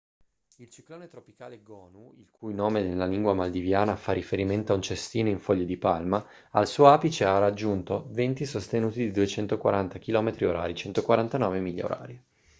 il ciclone tropicale gonu il cui nome nella lingua maldiviana fa riferimento a un cestino in foglie di palma al suo apice ha raggiunto venti sostenuti di 240 chilometri orari 149 miglia orarie